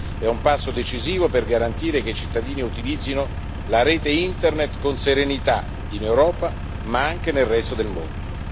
È un passo decisivo per garantire che i cittadini utilizzino la rete Internet con serenità in Europa, ma anche nel resto del mondo.